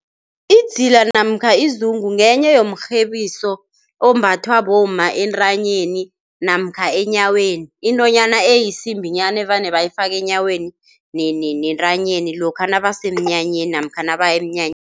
Idzila namkha izungu ngenye yomurhebiso ombathwa bomma entanyeni namkha enyaweni, intonyana eyisimbinyana evane bayifake enyaweni nentanyeni lokha nabasemnyanyeni namkha nabaya emnyanyeni.